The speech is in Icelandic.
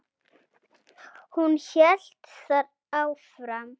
Hún hélt þar áfram